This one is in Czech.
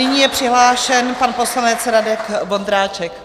Nyní je přihlášen pan poslanec Radek Vondráček.